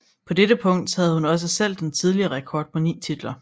På dette punkt havde hun også selv den tidligere rekord på ni titler